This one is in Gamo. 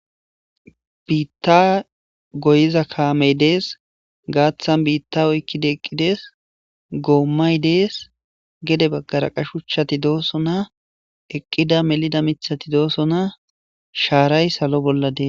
Biitta goyiza kaamey dees gaaththan biitta oykkida eqqidees goommay dees gede baggara qashu chchati doosona eqqida melida mithati doosona shaaray salo bolladees.